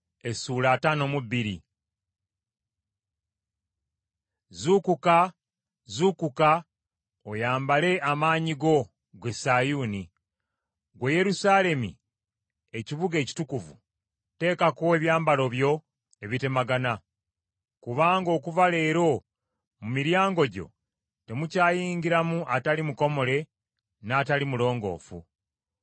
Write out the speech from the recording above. Zuukuka, zuukuka, oyambale amaanyi go, ggwe Sayuuni. Ggwe Yerusaalemi ekibuga ekitukuvu, teekako ebyambalo byo ebitemagana. Kubanga okuva leero mu miryango gyo temukyayingira mu atali mukomole n’atali mulongoofu.